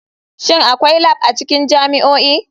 Shin akwai lab a cikin jami'o'i?